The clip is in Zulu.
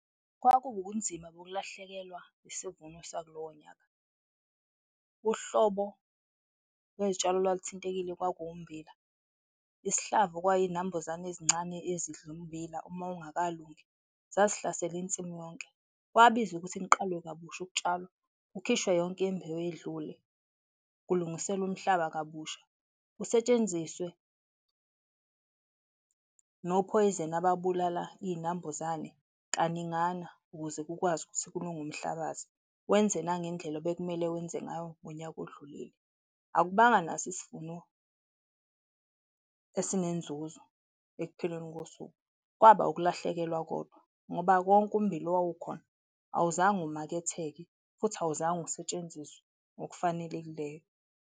Kwakuwubunzima bokulahlekelwa isivuno sakulowo nyaka. Uhlobo lwezitshalo olwaluthinthekile kwakuwummbila, isihlavu kwaizinambuzane ezincane ezidla ummbila uma ungakalungi, zazihlasela insimu yonke. Kwabizwa ukuthi niqalwe kabusha ukutshalwa, kukhishwe yonke imbewu edlule, kulungiselwa umhlaba kabusha, kusetshenziswe nophoyizeni ababulala izinambuzane kaningana ukuze kukwazi ukuthi kulunge umhlabathi, wenze nangendlela obekumele wenze ngayo ngonyaka odlulile. Akukubanga naso isivuno isinenzuzo ekupheleni kosuku, kwaba ukulahlekelwa kodwa ngoba konke ummbila owawukhona awuzange umaketheke futhi awuzange usentsenziswe ngokufanelekileyo.